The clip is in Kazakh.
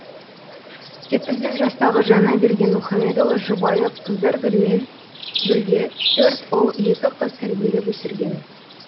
жетпіс бес жастағы жаңаберген мұхамедұлы жұбайы қыздаргүлмен бірге төрт ұл екі қыз тәрбиелеп өсірген